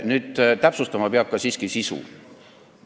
Nüüd, täpsustama peab siiski ka sisu.